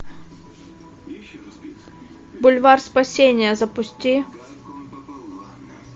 бульвар спасения запусти